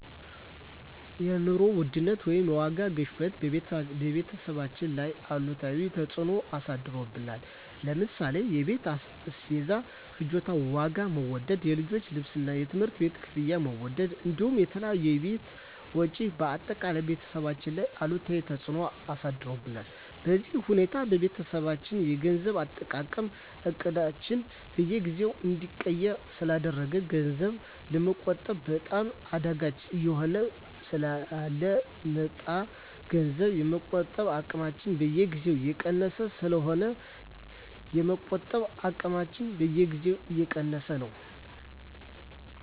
የኑሮ ውድነት ወይም የዋጋ ግሽበት በቤተሰባችን ላይ አሉታዊ ተፅዕኖ አሳድሮብናል ለምሳሌ የቤት አስቤዛ ፍጆታ ዋጋ መወደድ፣ የልጆች ልብስና የትምህርት ቤት ክፍያ መወደድ እንዲሁም የተለያዩ የቤት ወጪዎች በአጠቃላይ ቤተሰባችን ላይ አሉታዊ ተፅዕኖ አሳድሮብናል። በዚህ ሁኔታ የቤተሰባችን የገንዘብ አጠቃቀም እቅዳችንን በየጊዜው እንዲቀየር ስላደረገው ገንዘብ ለመቆጠብ በጣም አዳጋች እየሆነብን ስለ መጣ ገንዘብ የመቆጠብ አቅማችን በየጊዜው እየቀነሰብን ስለሆነ የመቆጠብ አቅማችንን በየጊዜው እየቀያየረው ነው።